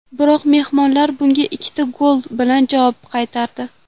Biroq mehmonlar bunga ikkita gol bilan javob qaytardi.